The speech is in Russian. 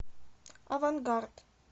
авангард